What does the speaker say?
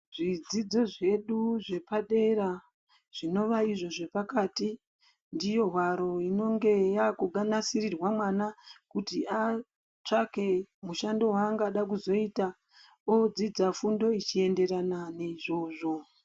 Zvidzidzo zvedu zvepadera zvinova izvo zvepakati ndiyo hwaro inonge yakunasirirwa mwana kuti atsvake mushando waangada kuzoita odzidza fundo ichienderana neizvozvo.